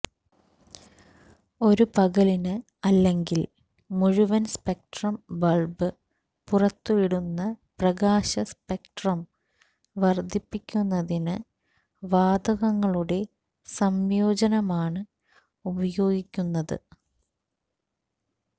ഒരു പകലിന് അല്ലെങ്കിൽ മുഴുവൻ സ്പെക്ട്രം ബൾബ് പുറത്തുവിടുന്ന പ്രകാശ സ്പെക്ട്രം വർദ്ധിപ്പിക്കുന്നതിന് വാതകങ്ങളുടെ സംയോജനമാണ് ഉപയോഗിക്കുന്നത്